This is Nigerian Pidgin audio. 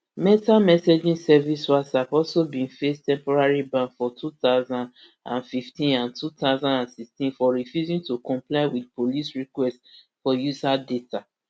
meta messaging service whatsapp also bin face temporary ban for two thousand and fifteen and two thousand and sixteen for refusing to comply wit police requests for user data